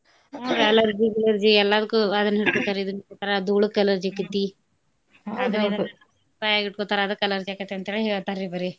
Allergy ಗಿಲರ್ಜಿ ಎಲ್ಲಾದಕ್ಕೂ ಅದ್ನ್ ಹಿಡ್ಕೋ ಇದ್ನ್ ಹಿಡ್ಕೋತಾರ ದೂಳುಕ್ allergy ಆಕತೀ ಬಾಯಾಗಿಟ್ಕೋತಾರ ಅದಕ್ allergy ಆಕೇತ್ ಅಂತೇಳೆ ಹೇಳ್ತರ್ರಿ ಬರೆ.